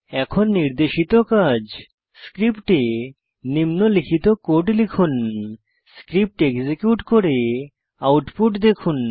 এখন নির্দেশিত কাজ স্ক্রিপ্টে নিম্নলিখিত কোড লিখুন স্ক্রিপ্ট এক্সিকিউট করে আউটপুট দেখুন